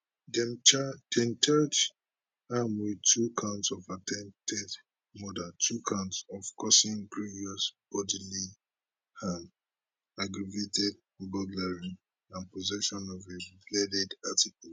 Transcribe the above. dem charge am wit two counts of attempted murder two counts of causing grievous bodily harm aggravated burglary and possession of a bladed article